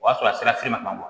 O y'a sɔrɔ a sera se ma